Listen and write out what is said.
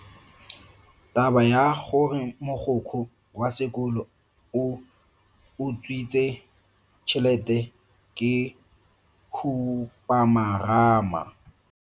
Taba ya gore mogokgo wa sekolo o utswitse tšhelete ke khupamarama.